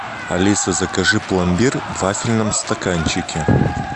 алиса закажи пломбир в вафельном стаканчике